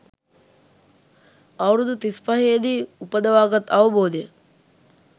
අවුරුදු තිස්පහේදී උපදවාගත් අවබෝධය